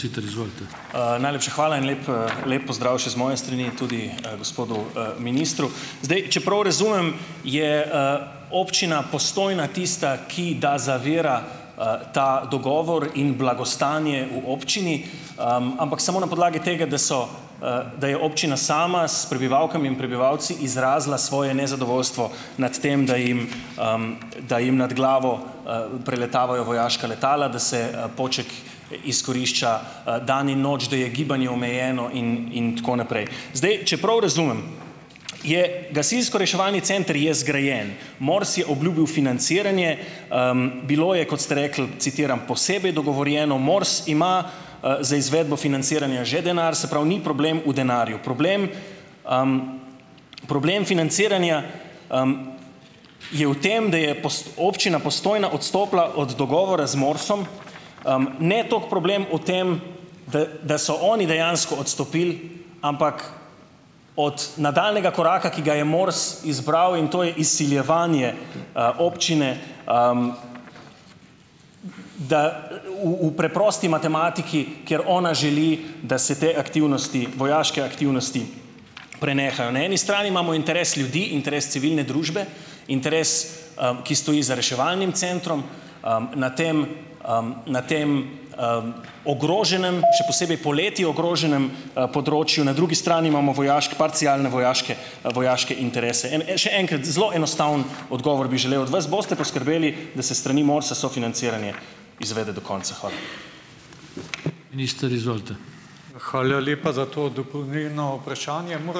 Najlepša hvala in lep, lep pozdrav še z moje strani tudi, gospodu, ministru. Zdaj, če prav razumem je, občina Postojna tista, ki da zavira, ta dogovor in blagostanje v občini, ampak samo na podlagi tega, da so, da je občina sama s prebivalkami in prebivalci izrazila svoje nezadovoljstvo nad tem, da jim, da jim nad glavo, preletavajo vojaška letala, da se, Poček izkorišča, dan in noč, da je gibanje omejeno in in tako naprej. Zdaj, če prav razumem, je gasilsko-reševalni center je zgrajen. Mors je obljubil financiranje, bilo je, kot ste rekli, citiram: "Posebej dogovorjeno. Mors ima, za izvedbo financiranja že denar." - Se pravi, ni problem v denarju, problem problem financiranja je v tem, da je občina Postojna odstopila od dogovora z MORS-om, ne toliko problem v tem, da da so oni dejansko odstopili, ampak od nadaljnjega koraka, ki ga je MORS izbral, in to je izsiljevanje, občine da v v preprosti matematiki, ker ona želi, da se te aktivnosti vojaške aktivnosti prenehajo. Na eni strani imamo interes ljudi, interes civilne družbe, interes, ki stoji za reševalnim centrom, na tem, na tem, ogroženem, še posebej poleti ogroženem, področju, na drugi strani imamo vojaške parcialne vojaške, vojaške interese. En en še enkrat, zelo enostaven odgovor bi želel od vas. Boste poskrbeli, da se s strani MORS-a sofinanciranje izvede do konca? Hvala.